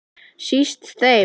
Síst þeim.